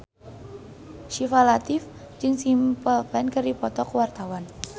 Syifa Latief jeung Simple Plan keur dipoto ku wartawan